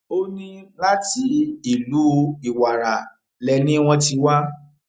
ó ní láti ìlú ìwàrà lẹni wọn ti wá